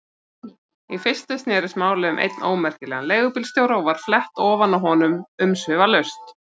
Í fyrstu snerist málið um einn ómerkilegan leigubílstjóra og var flett ofan af honum umsvifalaust.